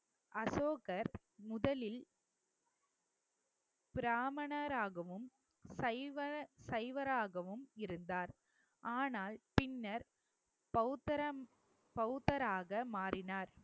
அசோகர் முதலில் பிராமணராகவும் சைவ~ சைவராகவும் இருந்தார் ஆனால் பின்னர் பௌத்தரம் பௌத்தராக மாறினார்